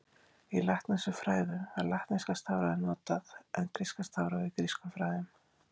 Í latneskum fræðum var latneska stafrófið notað, en gríska stafrófið í grískum fræðum.